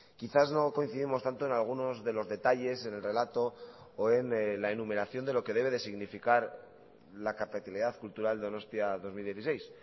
quizás no coincidimos tanto en algunos de los detalles en el relato o en la enumeración de lo que debe de significar la capitalidad cultural donostia dos mil dieciséis